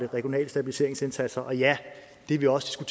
regionale stabiliseringsindsatser og ja det vi også